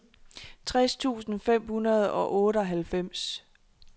tres tusind fem hundrede og otteoghalvfems